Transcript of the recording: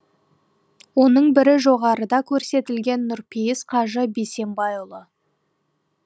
оның бірі жоғарыда көрсетілген нұрпейіс қажы бисембайұлы